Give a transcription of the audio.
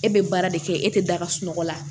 E bɛ baara de kɛ e tɛ da ka sunɔgɔ la